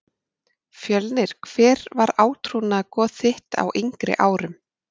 Fjölnir Hver var átrúnaðargoð þitt á yngri árum?